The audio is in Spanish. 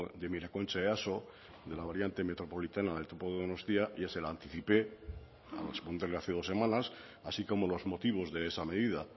miraconcha easo de la variante metropolitana del topo donostia ya se la anticipé dos semanas así como los motivos de esa medida